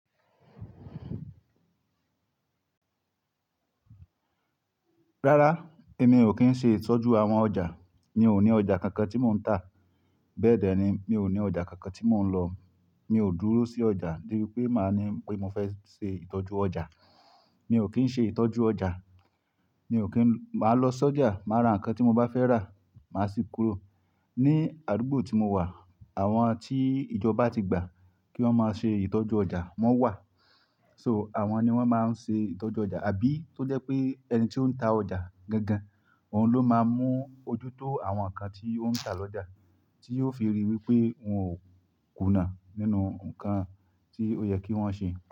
Rárá, èmi ò kí ń ṣe ìtọ́jú àwọn ọjà. Mi ò ní ọjà kankan tí mò ń tà. Bẹ́ẹ̀ dẹ̀ ni, mi ò ní ọjà kankan tí mò ń lọ. Mi ò dúró sí ọjà de bi pe màá ní pé mo fẹ́ ṣe ìtọ́jú ọjà. Mi ò kí ń ṣe ìtọ́jú ọjà. Mi ò kí ń, màá lọ sójà, màá ra nǹkan tí mo bá fẹ́ rà, màá sì kúrò. Ni àdúgbò tí mo wà, àwọn tí ìjọba ti gbà kí wọ́n máa ṣe ìtọ́jú ọjà, wọ́n wà. So, àwọn ni wọ́n máa ń ṣe ìtọ́jú ọjà. Àbí tó jẹ́ pé ẹni tí ó ń ta ọjà gangan, òun ló máa mú ojútó àwọn nǹkan tí ó ń tà lọ́jà, tí yóò fi rí wí pé òun ò kùnà nínú nǹkan tí ó yẹ kí wọ́n ṣe.